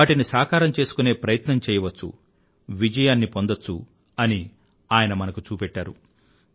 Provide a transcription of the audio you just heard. వాటిని సాకారం చేసుకునే ప్రయత్నం చేయవచ్చు విజయాన్ని పొందచ్చు అని ఆయన మనకు చూపెట్టారు